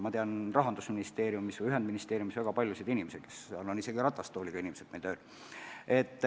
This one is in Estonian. Ma tean Rahandusministeeriumis ja mujal ühendministeeriumi majas väga paljusid selliseid töötajaid, seal on ametis isegi ratastooliga inimesed.